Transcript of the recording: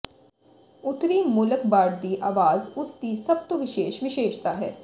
ਉੱਤਰੀ ਮੋਲਕਬਾਰਡ ਦੀ ਆਵਾਜ਼ ਉਸ ਦੀ ਸਭ ਤੋਂ ਵਿਸ਼ੇਸ਼ ਵਿਸ਼ੇਸ਼ਤਾ ਹੈ